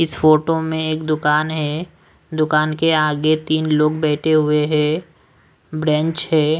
इस फोटो में एक दुकान है दुकान के आगे तीन लोग बैठे हुए हैं ब्रेंच है।